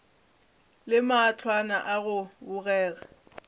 le mahlwana a go bogega